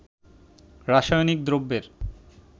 রাসায়নিক দ্রব্যের